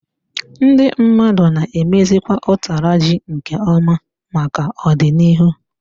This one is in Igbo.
Ndị mmadụ na emezikwa utara ji nke ọma maka ọdịnihu.